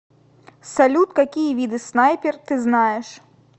салют какие виды снайпер ты знаешь